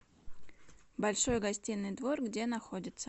большой гостиный двор где находится